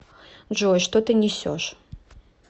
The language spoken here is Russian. джой что ты несешь